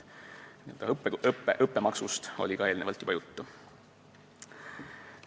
Õppemaksust oli eelnevalt juba juttu.